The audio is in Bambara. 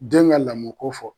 Den ka lamɔ ko fɔ